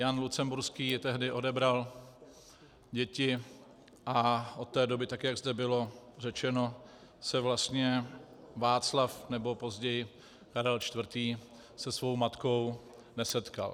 Jan Lucemburský jí tehdy odebral děti a od té doby, tak jak zde bylo řečeno, se vlastně Václav nebo později Karel IV. se svou matkou nesetkal.